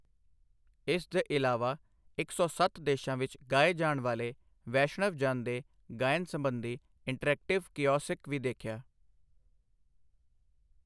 ਇਸ ਦੇ ਇਲਾਵਾ ਇੱਕ ਸੌ ਸੱਤ ਦੇਸ਼ਾਂ ਵਿੱਚ ਗਾਏ ਜਾਣ ਵਾਲੇ ਵੈਸ਼ਣਵ ਜਨ ਦੇ ਗਾਇਨ ਸਬੰਧੀ ਇੰਟਰਐਕਟਿਵ ਕੀਔਸਿਕ ਵੀ ਦੇਖਿਆ।